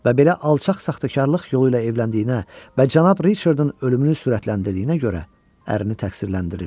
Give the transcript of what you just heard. Və belə alçaq saxtakarlıq yolu ilə evləndiyinə və cənab Riçardın ölümünü sürətləndirdiyinə görə ərini təqsirləndirir.